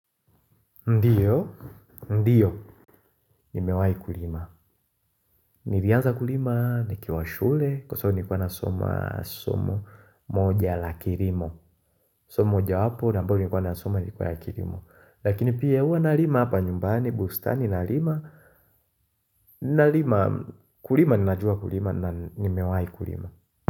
Ndiyo, ndiyo, nimewai kulima. Nilianza kulima nikiwa shule kwa sababu nilikuwa nasoma somo moja la kilimo. Somo mojawapo, ambalo nilikuwa nasoma lilikuwa la kirimo. Lakini pia uwa nalima hapa nyumbani, bustani na lima, na lima, kulima, ninajua kulima na nimewai kulima.